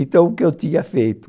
Então, o que eu tinha feito?